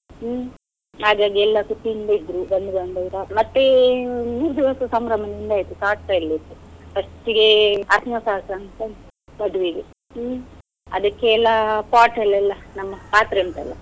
ಹ್ಮ್, ಹಾಗಾಗಿ ಎಲ್ಲ ಖುಷಿಯಿಂದ ಇದ್ರು ಬಂಧು ಬಾಂಧವರು, ಮತ್ತೆ ಸಂಭ್ರಮದಿಂದ ಆಯ್ತು, ಶಾಸ್ತ್ರ ಎಲ್ಲ ಇತ್ತು. first ಗೆ ಅರ್ಶಿನ ಶಾಸ್ತ್ರ ಅಂತ ಉಂಟು ವಧುವಿಗೆ ಹ್ಮ್. ಅದಿಕ್ಕೆಲ್ಲ pot ಅಲ್ಲಿ ಎಲ್ಲ, ನಮ್ಮ ಪಾತ್ರೆ ಉಂಟಲ್ಲ.